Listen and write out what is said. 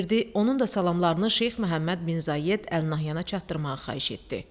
Onun da salamlarını Şeyx Məhəmməd bin Zayed Əl Nəhyana çatdırmağı xahiş etdi.